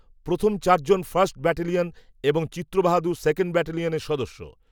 প্রথম চার জন ফার্স্ট, ব্যাটালিয়ন, এবং চিত্রবাহাদুর সেকেণ্ড ব্যাটালিয়নের সদস্য